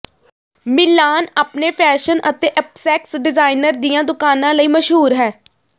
ਮਿਲਾਨ ਆਪਣੇ ਫੈਸ਼ਨ ਅਤੇ ਅਪਸੈਕਸ ਡਿਜ਼ਾਇਨਰ ਦੀਆਂ ਦੁਕਾਨਾਂ ਲਈ ਮਸ਼ਹੂਰ ਹੈ